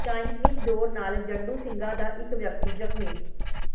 Chinese ਡੋਰ ਨਾਲ ਜੰਡੂ ਸਿੰਘਾ ਦਾ ਇਕ ਵਿਅਕਤੀ ਜ਼ਖ਼ਮੀ